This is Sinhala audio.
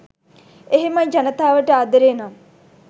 එහෙමයි ජනතාවට ආදරේ නම්